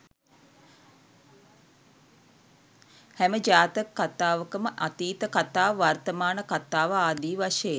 හැම ජාතක කථාවකම අතීත කථාව වර්තමාන කථාව ආදී වශයෙන්